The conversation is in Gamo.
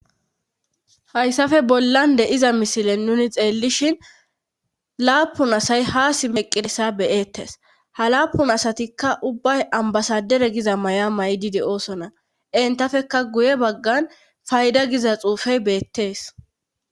Hayssafe bollande iza misilen nuni xeellishin laapun asay haasi meqiresa beyettes ha laapun asatikka ubbay ambasadere giza may7a maydide oosona entafekka guye baggan fayda giza xuufey beettees.